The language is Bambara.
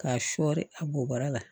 K'a sɔɔri a bo bara la